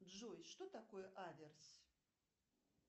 джой что такое аверс